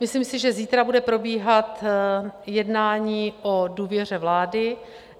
Myslím si, že zítra bude probíhat jednání o důvěře vlády.